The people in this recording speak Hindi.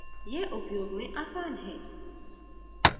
यह उपयोग में आसान है